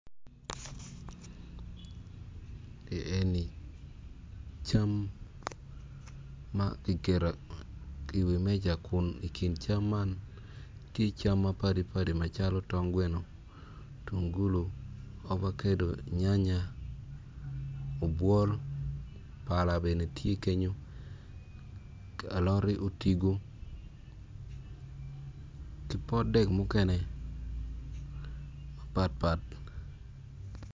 I eni cam ma kiketo ki i wi meja kun cam man cam mapadipadi calo tongweno tungulu ovakedo nyanya obwol pala bene tye kenyo aloti otigo ki pot dek mukene mapatpat